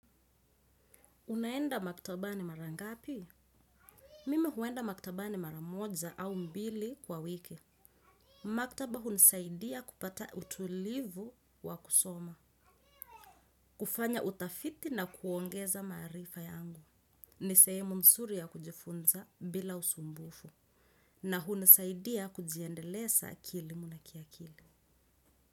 Unaenda maktabani mara ngapi? Mimi huenda maktabani mara moja au mbili kwa wiki. Maktaba hunisaidia kupata utulivu wa kusoma. Kufanya utafiti na kuongeza maarifa yangu. Ni sehemu nzuri ya kujifunza bila usumbufu. Na hunisaidia kujiendeleza kielimu na kiakili.